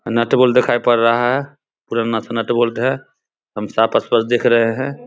नट bolt देखाई पर रहा है पूरे नथ नट बोल्ट है हम साफ स्पष्ट दिख रहे है।